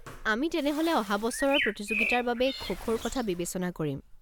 আমি তেনেহ'লে অহা বছৰৰ প্ৰতিযোগিতাৰ বাবে খো-খোৰ কথা বিবেচনা কৰিম।